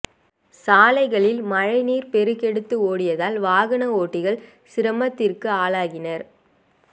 சாலைகளில் மழை நீர் பெருகெடுத்து ஓடியதால் வாகன ஓட்டிகள் சிரமத்திற்கு ஆளாகினர்